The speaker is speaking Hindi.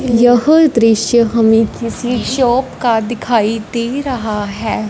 यह दृश्य हमें किसी शॉप का दिखाई दे रहा है।